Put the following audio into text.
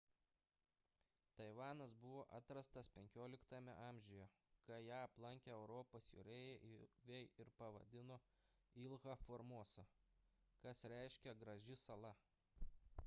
taivanas buvo atrastas xv amžiuje kai ją aplankė europos jūreiviai ir pavadino ilha formosa kas reiškia graži sala